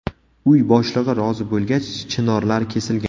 Uy boshlig‘i rozi bo‘lgach, chinorlar kesilgan.